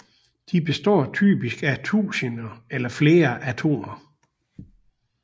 De består typisk af tusinder eller flere atomer